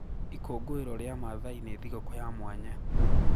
Ikũngũĩro rĩa Maathai nĩ thigũkũ ya mwanya.